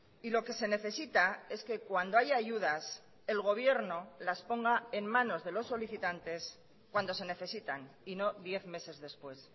y lo que se necesita es que cuando haya ayudas el gobierno las ponga en manos de los solicitantes cuando se necesitan y no diez meses después